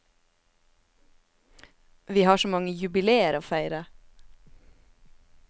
Vi har så mange jubileer å feire.